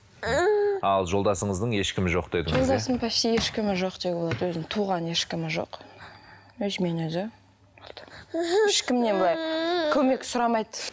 ал жолдасыңыздың ешкімі жоқ дедіңіз жолдасымның почти ешкімі жоқ деуге болады өзінің туған ешкімі жоқ өзімен өзі болды ешкімнен былай көмек сұрамайды